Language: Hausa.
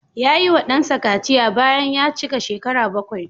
Ya yiwa ɗansa kaciya bayan ya cika shekara bakwai.